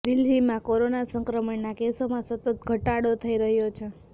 દિલ્હીમાં કોરોના સંક્રમણના કેસોમાં સતત ઘટાડો થઇ રહ્યો છે